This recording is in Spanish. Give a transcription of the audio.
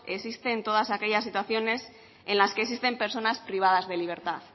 existe en todas aquellas situaciones en las que existen personas privadas de libertad